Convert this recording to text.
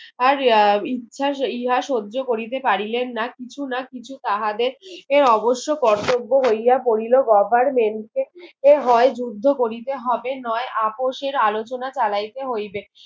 আর এর ইচ্ছা ইহা সহ্য করিতে পারিলেন না কিছু না কিছু তাহাদের এর অবশ্য কার্তব হইয়া পড়িল government এর এ হয় যুদ্ধ করিতে হবে নয় আপোষ এর আলোচনা চালাইতে হইবে